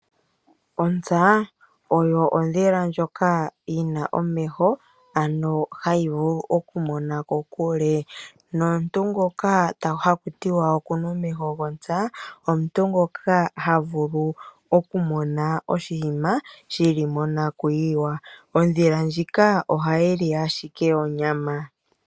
Ontsa oyo ondhila ndjoka yi na omeho haga vulu okumona kokule. Nomuntu ngoka haku tiwa oku na omeho gontsa omuntu ngoka ha vulu okumona oshinima shi li monakuyiwa. Ondhila ndjika ohayi li ashike onyama.